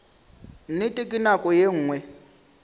nnete ka nako ye nngwe